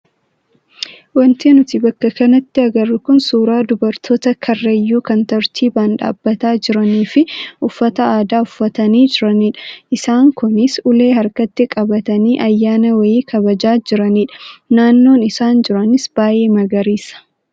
Wanti nuti bakka kanatti agarru kun suuraa dubartoota karrayyuu kan tartiibaan dhaabbataa jiranii fi uffata aadaa uffatanii jiranidha. Isaan kunis ulee harkatti qabatanii ayyaana wayii kabajaa jiranidha. Naannoon isaan jiranis baay'ee magariisa.